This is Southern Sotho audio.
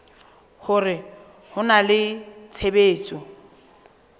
hore ho na le tshebetso